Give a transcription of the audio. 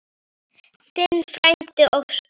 Þinn frændi Óskar.